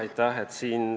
Aitäh!